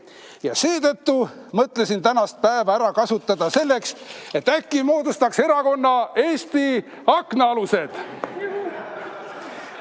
Ja seetõttu ma mõtlesin tänast päeva kasutada selleks, et moodustada erakond Eesti Aknaalused.